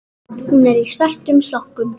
Hún er í svörtum sokkum.